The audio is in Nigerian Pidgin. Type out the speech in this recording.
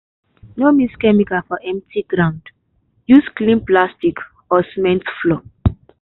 no mix chemical for empty ground. use clean plastic or cement floor.